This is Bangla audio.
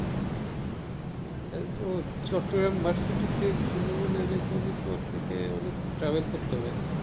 চট্টগ্রাম varsity থেকে সুন্দরবনে যাইতে হলে তো আপনাকে অনেক travel করতে হবে ।